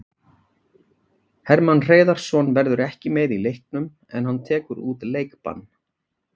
Hermann Hreiðarsson verður ekki með í leiknum en hann tekur út leikbann.